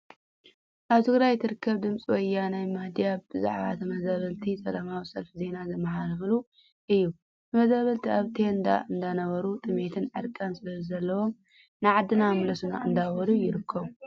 ኣብ ትግራይ ትርከብ ድምፂ ወያኔ ሚድያ ብዛዕባ ተመዛበልቲ ሰላማዊ ሰልፊ ዜና ዘማሓላለፈትሉ እዩ። ተመዛበልቲ ኣብ ቴንዳ እንዳነበሮ ጥሜትን ዕርቃን ስለ ዘለዎም ንዓድና ምለሱና እንዳበሉ ይርከቡ።